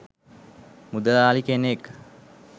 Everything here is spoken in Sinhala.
මුදලාලි කෙනෙක්